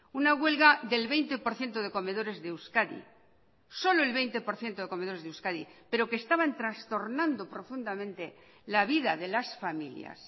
una huelga del veinte por ciento de comedores de euskadi solo el veinte por ciento de comedores de euskadi pero que estaban trastornando profundamente la vida de las familias